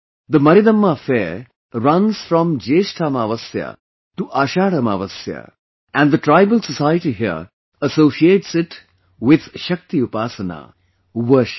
The Maridamma fair runs from Jyeshtha Amavasya to Ashadh Amavasya and the tribal society here associates it with Shakti upasana, worship